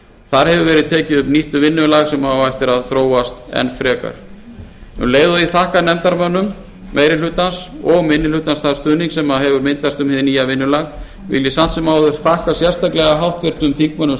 þar hefur verið tekið upp nýtt vinnulag sem á eftir að þróast enn frekar um leið og ég þakka nefndarmönnum meiri hlutans og minni hlutans þann stuðning sem hefur myndast um hið nýja vinnulag vil ég samt sem áður sérstaklega þakka háttvirtum þingmönnum